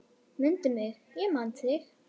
Mundu mig, ég man þig.